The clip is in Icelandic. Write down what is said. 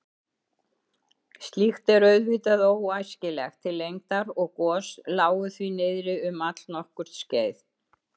Slíkt er auðvitað óæskilegt til lengdar og gos lágu því niðri um allnokkurt skeið.